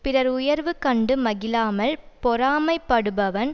பிறர் உயர்வு கண்டு மகிழாமல் பொறாமைப்படுபவன்